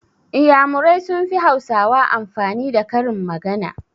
Iyamurai sun fi hausawa amfani da karin magana